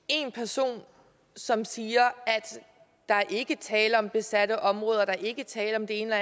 en person som siger at der ikke er tale om besatte områder at der ikke er tale om det ene og